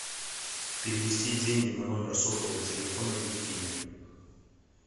перевести деньги на номер сотового телефона евгению